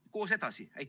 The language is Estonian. Aga koos edasi!